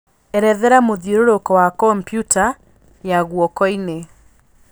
erethera mũthiũrũrũko wa kompyũta ya ngũokoinĩ